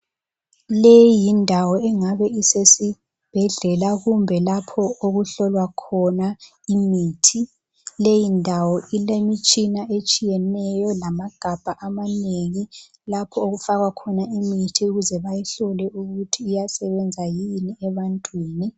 Leyi yindawo engabe isesibhedlela kumbe lapho okuhlolwa khona imithi. Leyi ndawo ilemitshina etshiyeneyo lamagabha amanengi lapho okufakwa khona imithi ukuze bayihlole ukuthi iyasebenza yini ebantwini.